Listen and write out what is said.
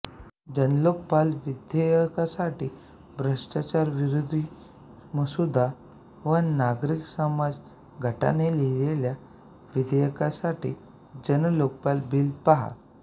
जन्लोकपाल विधेयकासाठी भ्रष्टाचारविरोधीमसुदा व नागरिक समाज गटाने लिहिलेल्या विधेयकासाठी जन लोकपाल बिल पहा